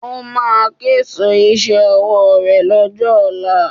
Ó máa késo iṣẹ́ ọwọ́ ré lọ́jọ́ ọ̀la